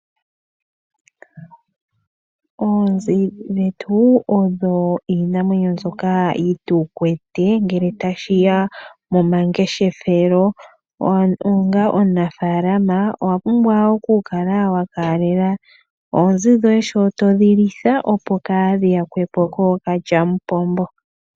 Oonzi dhetu odho iinimwenyo djoka yi tukwete ngele tashi ya momangeshefelo, onga omunafaalama owa pumbwa okula wa kalalela oonzi dhoye sho todhi litha opo kadhi yakwe po kookalyampombo.